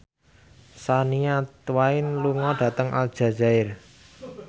Shania Twain lunga dhateng Aljazair